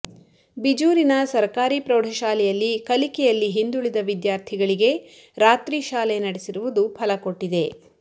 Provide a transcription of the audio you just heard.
ಬಿಜೂರಿನ ಸರಕಾರಿ ಪ್ರೌಢಶಾಲೆಯಲ್ಲಿ ಕಲಿಕೆಯಲ್ಲಿ ಹಿಂದುಳಿದ ವಿದ್ಯಾರ್ಥಿಗಳಿಗೆ ರಾತ್ರಿ ಶಾಲೆ ನಡೆಸಿರುವುದು ಫಲಕೊಟ್ಟಿದೆ